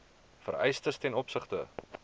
vereistes ten opsigte